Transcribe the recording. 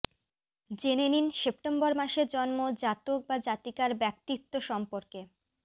জেনে নিন সেপ্টেম্বর মাসে জন্ম জাতক বা জাতিকার ব্যক্তিত্ব সম্পর্কে